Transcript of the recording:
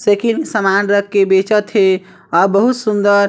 cycle सामान रखके बेचत है औउ बहुत सुंदर --